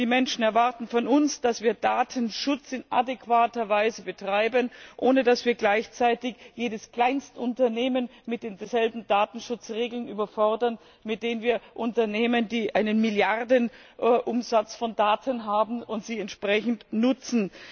Die Menschen erwarten von uns, dass wir Datenschutz in adäquater Weise betreiben, ohne dass wir gleichzeitig jedes Kleinstunternehmen mit denselben Datenschutzregeln überfordern, die wir an Unternehmen stellen, die einen Milliardenumsatz von Daten haben und sie entsprechend nutzen.